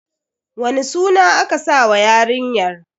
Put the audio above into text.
Wani suna aka sa wa yarinyar?